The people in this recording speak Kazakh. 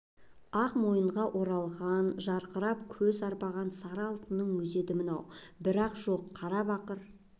ақ мойынға оралған жарқырап көз арбаған сары алтынның өзі еді мынау бір жоқ қара бақыр